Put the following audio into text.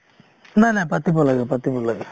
নাই নাই , পাতিব লাগে পাতিব লাগে |